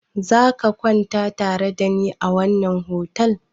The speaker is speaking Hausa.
Za ka kwana tare da ni a wannan otal?